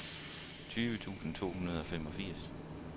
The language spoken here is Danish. tyve tusind to hundrede og femogfirs